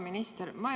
Hea minister!